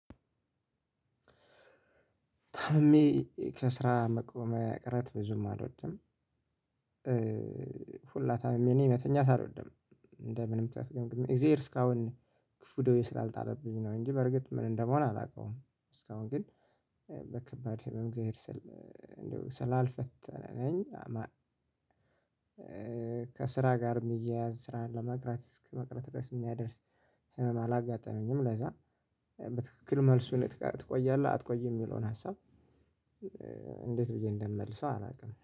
ታምሜ ከስራ መቅረት ብዙም አልወድም። ሁላ ታምሜ እኔ መተኛት አልወድም። እንደምንም ተፍገምግሜ እግዝሄር እስካሁን ክፉ ደዌ ስላልጠላብኝ ነው እንጂ በእርግጥ ምን እንደምሆን አላውቀውም። እስካሁን ግን በከባድ ህመም እግዝሄር ስላልፈተነኝ። ከስራ ጋር የሚያያዝ ስራ ለመቅረት ድረስ የሚያደርስ ህመም አላጋጠመኝም። ለዛ በትክክል መልሱን ትቆያለህ አትቆይም የሚለውን ሀሳብ። እንዴት ብዬ እንደምመልሰው አላውቅም